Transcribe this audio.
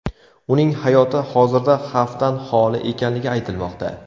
Uning hayoti hozirda xavfdan holi ekanligi aytilmoqda.